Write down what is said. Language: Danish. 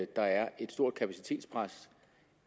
der er et stort kapacitetspres